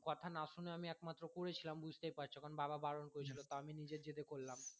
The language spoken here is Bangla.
কথা না শুনে আমি একমাত্র করেছিলাম কারন বুঝতেই পারছো বাবা বারন করেছিলো তাও আমি নিজের জেদে করলাম